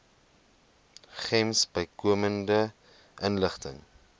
gems bykomende inligting